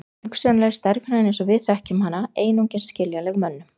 Hugsanlega er stærðfræðin eins og við þekkjum hana einungis skiljanleg mönnum.